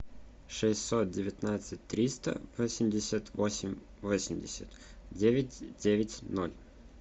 шестьсот девятнадцать триста восемьдесят восемь восемьдесят девять девять ноль